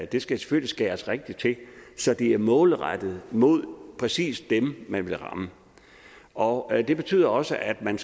det skal selvfølgelig skæres rigtigt til så det er målrettet mod præcis dem man vil ramme og det betyder også at man